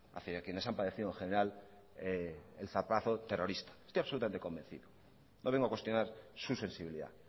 hacia quienes han padecido en general el zarpazo terrorista estoy absolutamente convencido no vengo a cuestionar su sensibilidad